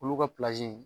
Olu ka